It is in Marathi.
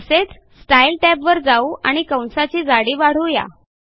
तसेच स्टाईल टॅबवर जाऊ आणि कंसाची जाडी वाढवू या